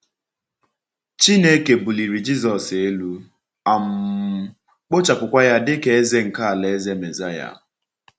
Chineke buliri Jisọs elu, um kpochapụkwa ya dịka Eze nke Alaeze Mesaya.